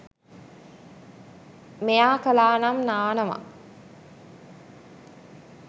මෙයා කලානම් නානවා